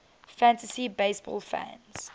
fantasy baseball fans